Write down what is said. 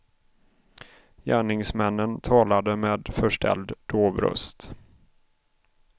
Gärningsmännen talade med förställd dov röst.